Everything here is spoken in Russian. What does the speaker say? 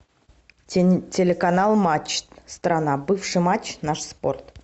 телеканал матч страна бывший матч наш спорт